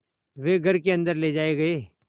वे घर के अन्दर ले जाए गए